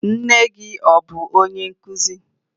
Nne gị abụ onye nkụzi?